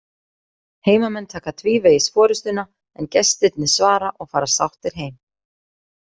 Heimamenn taka tvívegis forystuna en gestirnir svara og fara sáttir heim.